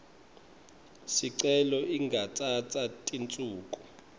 sicelo ingatsatsa tinsuku